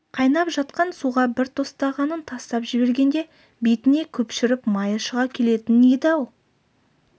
қайнап жатқан суға бір тостағанын тастап жібергенде бетіне көпіршіп майы шыға келетін еді-ау